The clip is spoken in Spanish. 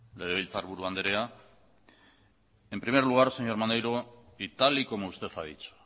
legebiltzarburu andrea en primer lugar señor maneiro y tal y como usted ha dicho